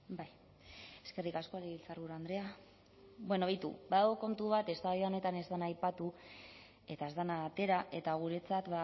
bai eskerrik asko legebiltzarburu andrea bueno beitu badago kontu bat eztabaida honetan ez dena aipatu eta ez dena atera eta guretzat